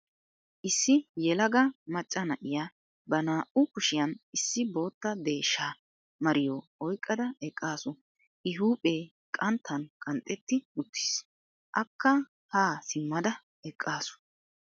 Issi yelaga macca na'iya ba naa"u kushiyan issi bootta deeshsha mariyo oyqqada eqqaasu. I huuphee qanttan qanxxetti uttiis. Akka haa simmada eqqaasu.